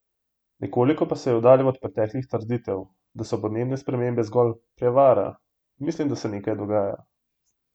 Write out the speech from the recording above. Nekoliko pa se je oddaljil od preteklih trditev, da so podnebne spremembe zgolj 'prevara':"Mislim, da se nekaj dogaja.